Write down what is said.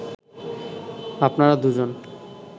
আপনারা দুজন